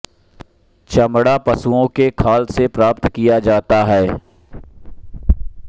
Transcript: चमड़ा पशुओं के खाल से प्राप्त किया जाता था